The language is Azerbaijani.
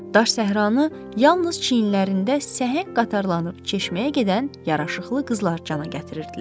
Daş səhranı yalnız çiyinlərində səhəng qatarılanıb çeşməyə gedən yaraşıqlı qızlar cana gətirirdilər.